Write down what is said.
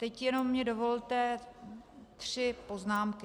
Teď mi jenom dovolte tři poznámky.